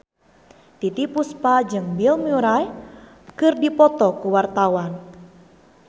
Titiek Puspa jeung Bill Murray keur dipoto ku wartawan